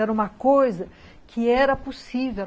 Era uma coisa que era possível.